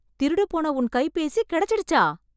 திருடு போன உன் கைபேசி கெடைச்சிடுச்சா...